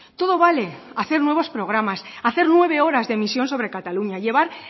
todo vale hacer nuevos programas hacer nueve horas de emisión sobre cataluña llevar